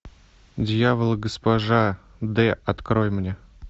дьявол и госпожа д открой мне